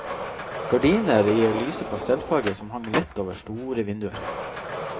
Gardiner i lyse pastellfarger som hang lett over store vinduer.